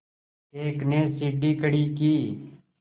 एक ने सीढ़ी खड़ी की